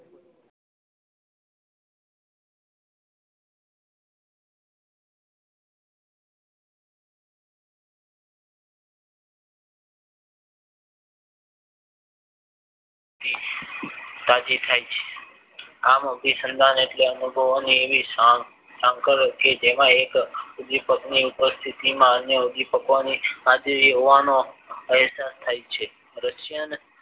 તાજી થાય છે આમ અભિસંદન એટલે અનુભવોની એવી સાંકળ કે જેમાં એક ઉદ્વિપકની ઉપસ્થિતિમાં અમય ઉદ્વિપકોની સાતે હોવાનો અહેસાસ થાય છે